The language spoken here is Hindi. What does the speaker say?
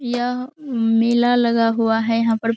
यह मेला लगा हुआ है यहां पर।